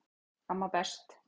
Amma best